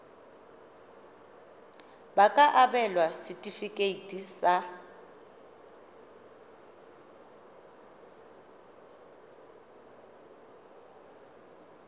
ba ka abelwa setefikeiti sa